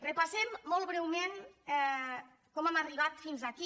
repassem molt breument com hem arribat fins aquí